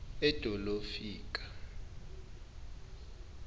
edolofika